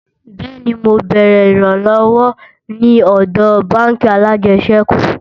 bẹẹni, mọ bèrè ìran lówó ní òdò bánkì alàjesèkú